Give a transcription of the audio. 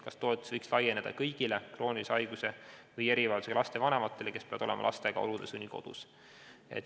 Kas toetus võiks laieneda kõigile kroonilise haiguse või erivajadusega laste vanematele, kes peavad olema lastega olude sunnil kodus?